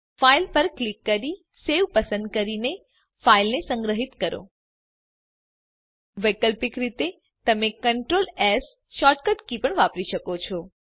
file પર click કરી save પસંદ કરીને ફાઈલને સંગ્રહીત કરો વૈકલ્પિક રીતે તમે કન્ટ્રોલ એસ શોર્ટકટ પણ વાપરી શકો છો